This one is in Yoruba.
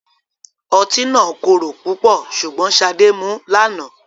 Ọtí náà korò pupo sugbon Sade mu lana